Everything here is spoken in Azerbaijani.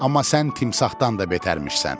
Amma sən timsahdan da betərmişsən.